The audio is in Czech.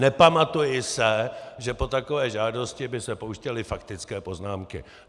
Nepamatuji se, že po takové žádosti by se pouštěly faktické poznámky.